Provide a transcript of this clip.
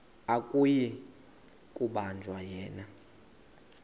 akuyi kubanjwa yena